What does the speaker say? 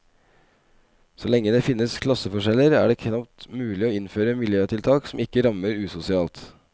Så lenge det finnes klasseforskjeller, er det knapt mulig å innføre miljøtiltak som ikke rammer usosialt.